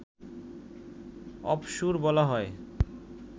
অপসূর বলা হয়